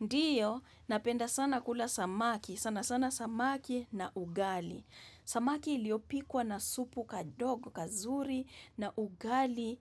Ndiyo, napenda sana kula samaki, sana sana samaki na ugali. Samaki iliyopikwa na supu kadogo, kazuri na ugali,